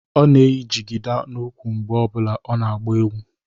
Ọ na-eyi jigida n'úkwù mgbe ọ bụla ọ na-agba egwu